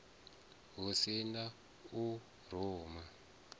hu si na u ruma